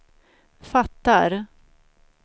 fattar